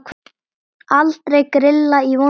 Aldrei grilla í vondu skapi.